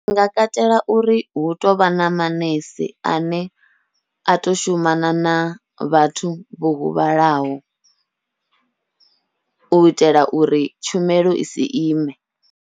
Ndi nga katela uri hu tovha na manese ane a tou shumana na vhathu vho huvhalaho, u itela uri tshumelo isi ime.